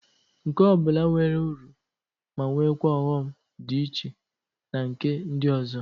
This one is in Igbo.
Nke ọ bụla nwere uru ma nwekwa ọghọm dị iche na nke ndị ọzọ.